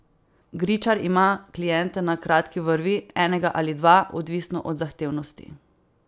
Gričar ima kliente na kratki vrvi, enega ali dva, odvisno od zahtevnosti.